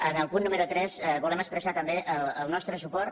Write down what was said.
en el punt número tres volem expressar també el nostre suport